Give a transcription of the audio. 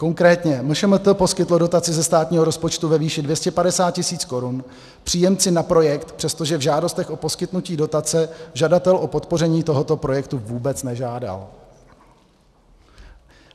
Konkrétně MŠMT poskytlo dotaci ze státního rozpočtu ve výši 250 tisíc korun příjemci na projekt, přestože v žádostech o poskytnutí dotace žadatel o podpoření tohoto projektu vůbec nežádal.